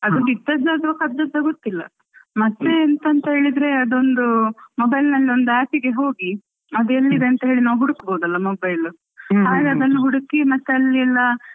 ಅದು ಬಿದ್ದದ್ದ ಕದ್ದದ್ದ ಗೊತ್ತಿಲ್ಲ ಮತ್ತೆ ಎಂತ ಅಂತ ಹೇಳಿದ್ರೆ, ಅದೊಂದು mobile ಅಲ್ಲಿ ಒಂದು app ಗೆ ಹೋಗಿ ಅದು ಎಲ್ಲಿ ಇದೆ ಅಂತ ಹೇಳಿ ನಾವು ಹುಡುಕಬೋದಲ್ಲmobile ಹಾಗೆ ಅದನ್ನು ಹುಡುಕಿ ಮತ್ತೆ ಅಲ್ಲೆಲ್ಲ.